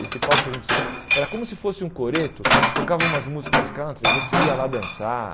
Esse palco que a gente subiu era como se fosse um coreto, tocava umas músicas country, você ia lá dançar.